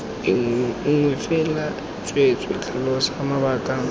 nngwe fela tsweetswee tlhalosa mabaka